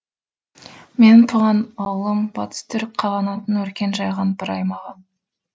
менің туған ауылым батыс түрік қағанатының өркен жайған бір аймағы